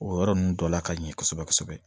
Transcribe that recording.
O yɔrɔ ninnu dɔ la ka ɲɛ kosɛbɛ kosɛbɛ